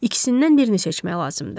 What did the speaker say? İkisindən birini seçmək lazımdır.